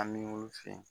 An bɛ wulu fɛ